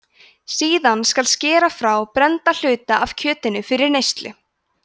síðan skal skera frá brennda hluta af kjötinu fyrir neyslu